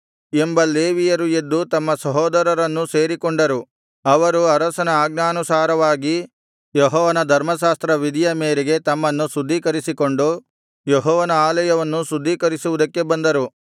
ಎಂಬ ಲೇವಿಯರು ಎದ್ದು ತಮ್ಮ ಸಹೋದರರನ್ನು ಸೇರಿಕೊಂಡರು ಅವರು ಅರಸನ ಆಜ್ಞಾನುಸಾರವಾಗಿ ಯೆಹೋವನ ಧರ್ಮಶಾಸ್ತ್ರ ವಿಧಿಯ ಮೇರೆಗೆ ತಮ್ಮನ್ನು ಶುದ್ಧೀಕರಿಸಿಕೊಂಡು ಯೆಹೋವನ ಆಲಯವನ್ನು ಶುದ್ಧೀಕರಿಸುವುದಕ್ಕೆ ಬಂದರು